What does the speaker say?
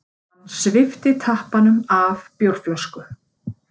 Hann svipti tappanum af bjórflösku.